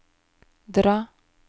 dra